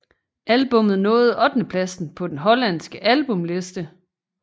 Albumet nåede ottendeplads på den hollandske albumliste